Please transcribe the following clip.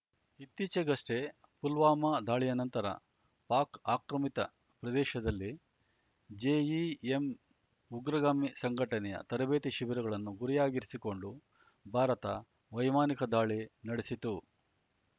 ಇತ್ತೀಚೆಗಷ್ಟೇ ಪುಲ್ವಾಮಾ ದಾಳಿಯ ನಂತರ ಪಾಕ್ ಆಕ್ರಮಿತ ಪ್ರದೇಶದಲ್ಲಿ ಜೆಇಎಂ ಉಗ್ರಗಾಮಿ ಸಂಘಟನೆಯ ತರಬೇತಿ ಶಿಬಿರಗಳನ್ನು ಗುರಿಯಾಗಿರಿಸಿಕೊಂಡು ಭಾರತ ವೈಮಾನಿಕ ದಾಳಿ ನಡೆಸಿತ್ತು